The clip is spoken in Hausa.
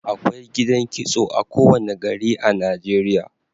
Akwai gidan kitso a kowane gari a Najeriya